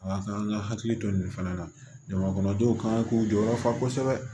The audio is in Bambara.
A ka kan an ka hakili to nin fana na jama kɔnɔdenw ka k'u jɔyɔrɔ fa kosɛbɛ